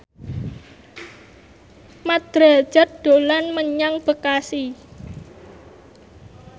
Mat Drajat dolan menyang Bekasi